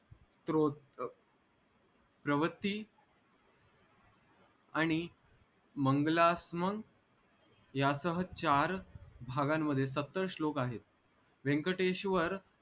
स्रोत प्रवती आणि मंगलास्म या सह चार भागांमध्ये सत्तर श्लोक आहेत व्यंकटेश्वर